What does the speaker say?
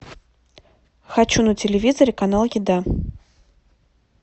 хочу на телевизоре канал еда